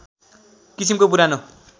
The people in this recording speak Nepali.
किसिमको पुरानो